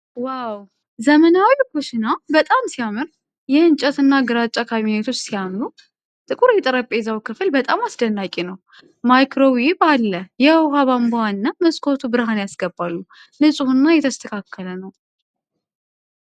ዋው! ዘመናዊው ኩሽና በጣም ሲያምር! የእንጨት እና ግራጫ ካቢኔቶች ሲያምሩ ። ጥቁር የጠረጴዛው ክፍል በጣም አስደናቂ ነው ። ማይክሮዌቭ አለ ። የውሃ ቧንቧው እና መስኮቱ ብርሃን ያስገባሉ። ንፁህና የተስተካከለ ነው!